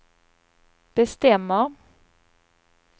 bestämmer